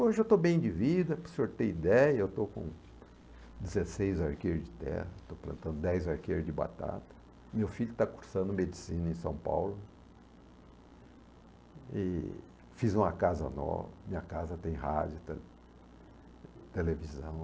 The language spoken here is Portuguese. Hoje eu estou bem de vida, para o senhor ter ideia, eu estou com dezesseis arqueires de terra, estou plantando dez arqueires de batata, meu filho está cursando medicina em São Paulo, e fiz uma casa nova, minha casa tem rádio, televisão.